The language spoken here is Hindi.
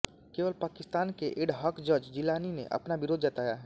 केवल पाकिस्तान के एडहॉक जज जिलानी ने अपना विरोध जताया है